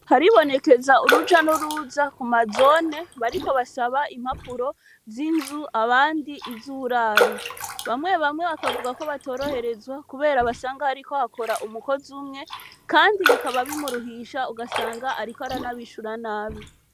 Haribonekeza uruja n'uruza ku mazone bariko basaba impapuro z'inzu abandi izuburaro, bamwe bamwe bakavuga ko batoroherezwa kubera basanga hariko hakora umukozi umwe kandi bikaba bimuruhisha ugasanga ariko aranabishura nabi.